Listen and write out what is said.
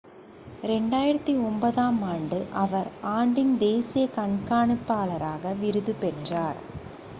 2009 ஆம் ஆண்டு அவர் ஆண்டின் தேசிய கண்காணிப்பாளராக விருது பெற்றார்